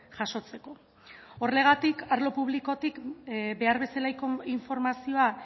jasotzeko horregatik arlo publikotik behar bezalako informazioa